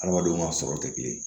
Adamadenw ka sɔrɔ tɛ kelen ye